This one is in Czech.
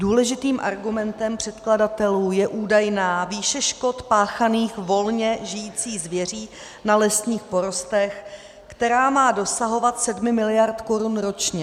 "Důležitým argumentem předkladatelů je údajná výše škod páchaných volně žijící zvěří na lesních porostech, která má dosahovat 7 miliard korun ročně.